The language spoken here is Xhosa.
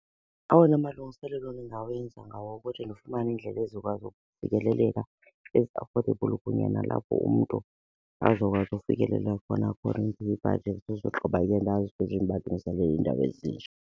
Awona malungiselelo ndingawenza ngawokuthi ndifumane iindlela ezizokwazi ukufikeleleka ezi-affordable kunye nalapho umntu azokwazi ukufikelela khona for nebhajethi usogqiba yena azi ukuthi ndibalungiselela iindawo ezinje.